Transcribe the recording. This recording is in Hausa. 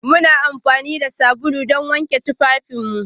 Muna amfani da sabulu don wanke tufafinmu